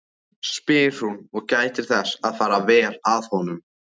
spyr hún og gætir þess að fara vel að honum.